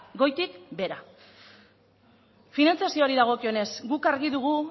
goitik behera finantzazioari dagokionez guk argi dugu